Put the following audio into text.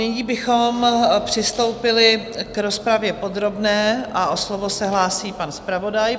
Nyní bychom přistoupili k rozpravě podrobné a o slovo se hlásí pan zpravodaj.